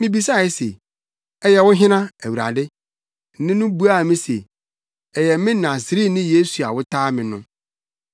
“Mibisae se, ‘Ɛyɛ wo hena, Awurade?’ “Nne no buaa me se, ‘Ɛyɛ me Nasareni Yesu a wotaa me no.’